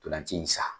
Ntolan ci in sa